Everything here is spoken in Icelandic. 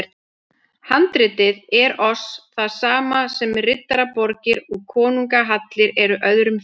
Handritin eru oss það sama sem riddaraborgir og konungahallir eru öðrum þjóðum.